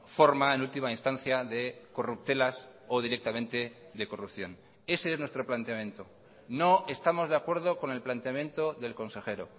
forma en última instancia de corruptelas o directamente de corrupción ese es nuestro planteamiento no estamos de acuerdo con el planteamiento del consejero